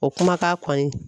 O kumakan kɔni